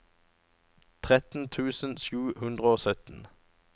tretten tusen sju hundre og sytten